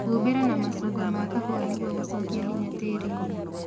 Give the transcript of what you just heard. Humbĩra na mashungo ma kahũa nĩguo gũshokia hinya tĩriinĩ